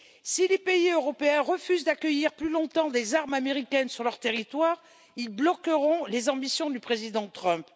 Si les pays européens refusent d'accueillir plus longtemps des armes américaines sur leur territoire, ils bloqueront les ambitions du président Trump.